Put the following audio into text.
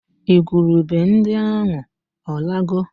Igwurube ndị ahụ ọ lago?